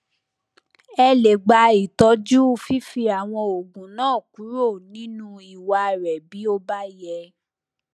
ẹ lè gba itọju fífi àwọn oògùn náà kúrò nínú ìwà rẹ bí ó bá yẹ